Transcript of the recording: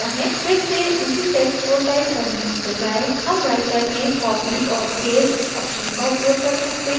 फिर से उसी text को टाइप करने के बजाय हम writer में copy और paste option का उपयोग कर सकते हैं